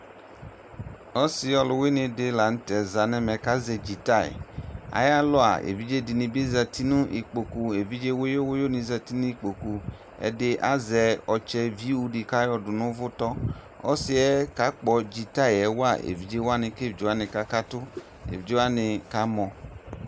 Ɔsɩ ɔlʋwɩnɩ dɩ la nʋ tɛ za nʋ ɛmɛ kʋ azɛ dzitay Ayalɔ a, evidze dɩnɩ bɩ zati nʋ ikpoku evidze wʋyʋ wʋyʋnɩ zati nʋ ikpoku Ɛdɩ azɛ ɔtsɛviu dɩ kʋ ayɔdʋ nʋ ʋvʋtɔ Ɔsɩ yɛ kakpɔ dzitay yɛ wa evidze wanɩ kʋ evidze wanɩ kakatʋ Evidze wanɩ kamɔ